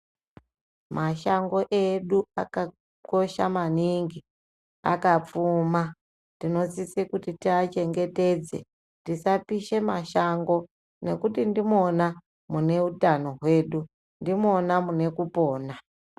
Mashango edu akakosha maningi, akapfuma. Tinosise kuti tiachengetedze. Tisapishe mashango nekuti ndimona muneutano hwedu, ndimwona munekupona.